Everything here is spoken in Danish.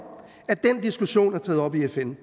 at den diskussion er taget op i fn